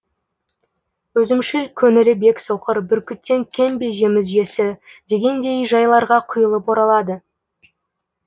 өзімшіл көңілі бек соқыр бүркіттен кем бе жем жесі дегендей жайларға құйылып оралады